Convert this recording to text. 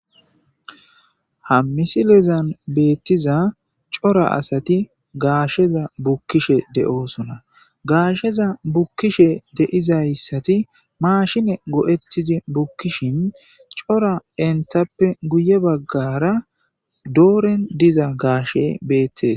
ha misilezan beettiza cora asati gaasheza bukkishe de7oosona gaasheza bukkishe de'izayssati maashine go7ettizi bukkishin cora entappe guye baggara dooren diza gaashe beettes